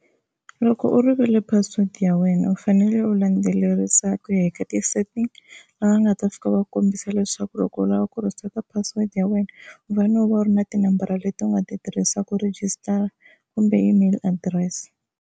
Loko u rivele password ya wena u fanele u landzelerisa ku ya eka ti-settings laha va nga ta fika va kombisa leswaku loko u lava ku reset password ya wena u fane u va u ri na tinambara leti u nga ti tirhisa ku register kumbe email address.